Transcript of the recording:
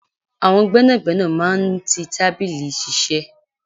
Àwọn gbẹ́nàgbẹ́nà máa ń tí tábìlì iṣiṣẹ.